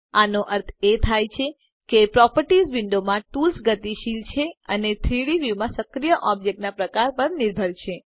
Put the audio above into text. આનો અર્થ એ થાય છે કે પ્રોપર્ટીઝ વિંડોમાં ટૂલ્સ ગતિશીલ છે અને 3ડી વ્યુ માં સક્રિય ઑબ્જેક્ટના પ્રકાર પર નિર્ભર છે